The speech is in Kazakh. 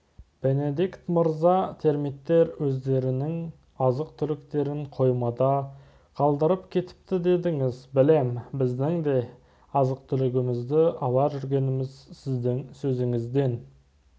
бенедикт мырза термиттер өздерінің азық-түліктерін қоймада қалдырып кетіпті дедіңіз білем біздің де азық-түлігімізді ала жүргеніміз сіздің сөзіңізден